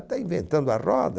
Está inventando a roda.